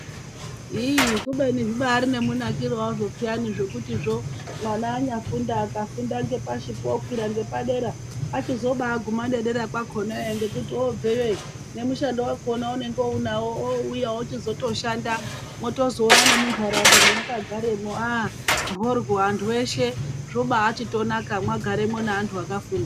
ii...kubeni zvibari nemunakire wazvo peyani zvekutizvo mwana anyafunda akufunda ngepashipo okwira ngepadera achizobaaguma nederekwakonayo ngekuti obveyo nemushando wakona waunenge unawo ouya ochizotoshanda mwotozoona nemunharaunda mwemwakagaremwo aah mhoryo antu eshe zvobaachitonaka mwagaremwo neanhu akafunda.